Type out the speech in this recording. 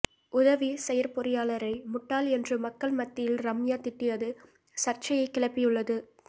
உதவி செயற்பொறியாளரை முட்டாள் என்று மக்கள் மத்தியில் ரம்யா திட்டியது சர்ச்சையைக் கிளப்பியுள்ளது